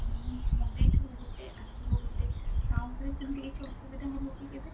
ମାନେ ମଗେଇଥିବୁ ଗୋଟେ ଆସିବ ଗୋଟେ ତା ଉପରେ ସେମିତି କିଛି ଅସୁବିଧା ହବ କି କେବେ?